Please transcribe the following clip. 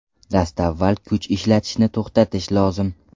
Dastavval kuch ishlatishni to‘xtatish lozim.